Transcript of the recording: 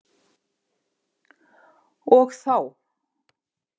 Og þá!